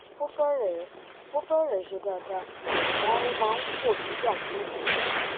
ó fẹrẹẹ ó fẹrẹẹ ṣe dáadáa àmọ ó máa ń fò nígbà míì